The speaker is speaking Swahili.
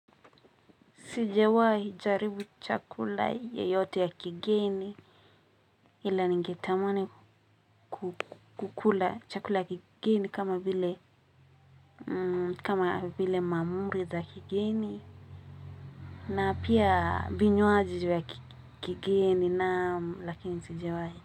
Sijawahi jaribu chakula yeyote ya kigeni ila ningetamani kukula chakula ya kigeni kama vile kama vile maamuri za kigeni na pia vinywaji vya kigeni naam lakini sijawai.